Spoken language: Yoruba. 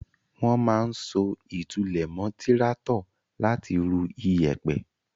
Wọ́n máa ń so ìtúlẹ̀ mọ́ tíráátọ̀ láti rú iyẹ̀pẹ̀.